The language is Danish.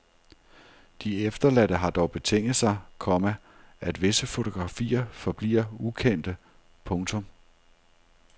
De efterladte har dog betinget sig, komma at visse fotografier forbliver ukendte. punktum